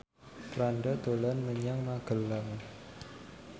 Franda dolan menyang Magelang